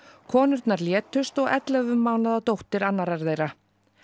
konurnar létust og ellefu mánaða dóttir annarrar þeirra